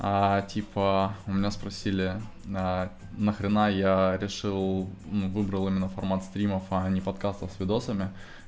а типа у меня спросили на нахрена я решил ну выбрал именно формат стримов а не подкастов с видосами